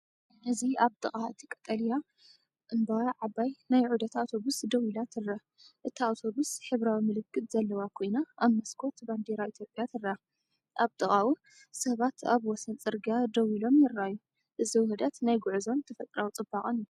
እዚ ኣብ ጥቓ እቲ ቀጠልያ እምባ ዓባይ ናይ ዑደት ኣውቶቡስ ደው ኢላ ትርአ። እታ ኣውቶቡስ ሕብራዊ ምልክት ዘለዋ ኮይና ኣብ መስኮት ባንዴራ ኢትዮጵያ ትርአ። ኣብ ጥቓኡ ሰባት ኣብ ወሰን ጽርግያ ደው ኢሎምይረኣዩ። እዚ ውህደት ናይ ጉዕዞን ተፈጥሮኣዊ ጽባቐንእዩ።